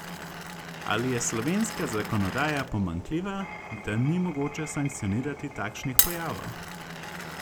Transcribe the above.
Ali je slovenska zakonodaja pomanjkljiva, da ni mogoče sankcionirati takšnih pojavov?